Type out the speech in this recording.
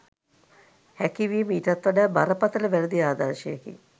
හැකි වීම ඊටත් වඩා බරපතල වැරදි ආදර්ශයකි.